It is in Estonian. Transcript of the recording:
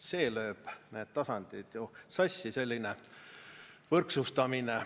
See lööb need tasandid ju sassi, selline võrdsustamine.